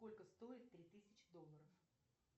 сколько стоит три тысячи долларов